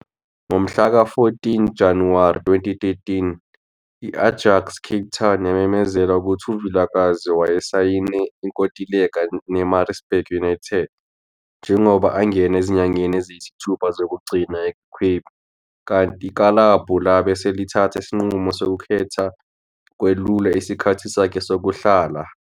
Ngomhlaka-14 Januwari 2013 i- Ajax Cape Town yamemezela ukuthi uVilakazi wayesayine inkontileka ne- Maritzburg United njengoba angena ezinyangeni eziyisithupha zokugcina ekwiCape kanti ikilabhu labe selithatha isinqumo sokukhetha ukwelula isikhathi sakhe sokuhlala.